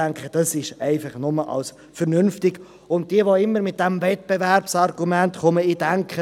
Uns ist auch bewusst, dass hier die Spitäler in der Verantwortung stehen.